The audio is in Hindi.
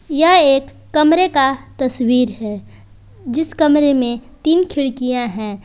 यह एक कमरे का तस्वीर है जिस कमरे में तीन खिड़कियां हैं।